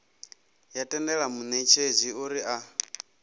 ya tendela munetshedzi uri a